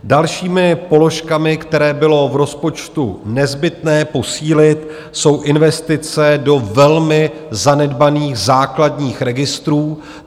Dalšími položkami, které bylo v rozpočtu nezbytné posílit, jsou investice do velmi zanedbaných základních registrů.